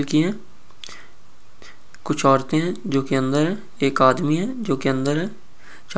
कुछ औरतें है जो की अंदर हैएक आदमी है जो की अंदर हैं चारों तरफ़ कुछ पेड़ पौधे हैं जो कि हरी- हरी है।